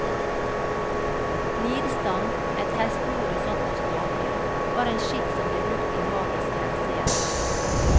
Nidstang, et hestehode satt på stake, var en skikk som ble brukt i magisk henseende.